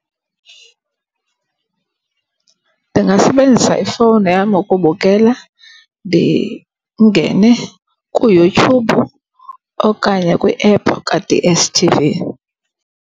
Ndingasebenzisa ifowuni yam ukubukela, ndingene kuYouTube okanye kwiephu ka-D_S_T_V.